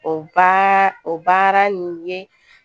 O ba o baara nin ye